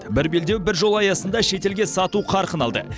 бір белдеу бір жол аясында шетелге сату қарқын алды